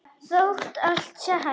Þótt allt sé hætt?